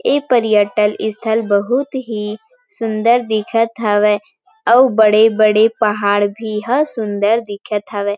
ऐ पर्यटन स्थल बहुत ही सुन्दर दिखत हवय अऊ बड़े-बड़े पहाड़ भी ह सुन्दर दिखत हवय।